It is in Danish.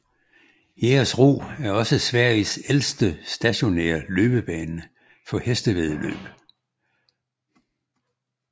Jägersro er også Sveriges ældste stationære løbsbane for hestevæddeløb